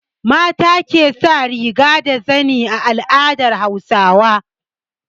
Mata ke sa riga da zani a al'adar Hausawa.